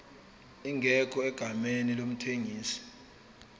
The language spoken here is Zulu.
ingekho egameni lomthengisi